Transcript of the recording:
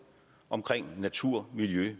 omkring natur miljø